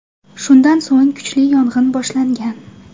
Shundan so‘ng kuchli yong‘in boshlangan.